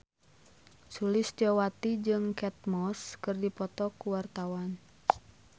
Sulistyowati jeung Kate Moss keur dipoto ku wartawan